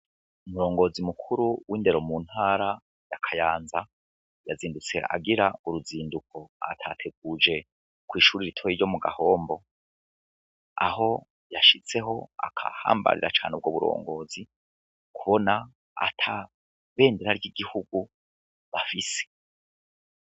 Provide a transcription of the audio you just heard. Umurongozi mukuru w'indero muntara ya kayanza yazindutse agira uruzinduko atateguje kwishure ritoyi ryo mugahombo, aho yashitseho agahambarira cane ubwo buyobozi kubona ata bendera ry'igihugu bafise.